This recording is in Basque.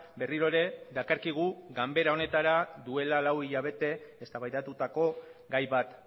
berriro ere dakarkigu ganbara honetara duela lau hilabete eztabaidatutako gai bat